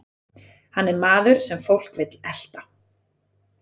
Hann er maður sem fólk vill elta.